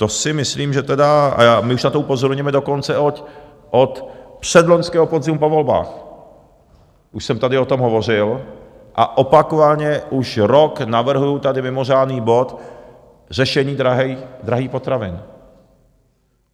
To si myslím, že tedy - a my už na to upozorňujeme dokonce od předloňského podzimu po volbách, už jsem tady o tom hovořil, a opakovaně, už rok navrhuju tady mimořádný bod - řešení drahých potravin.